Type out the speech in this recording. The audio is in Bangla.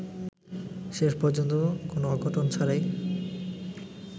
শেষ পর্যন্ত কোন অঘটন ছাড়াই